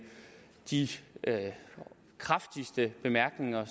de kraftigste bemærkninger